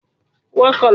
Bẹẹni, Mo ti nu baluwe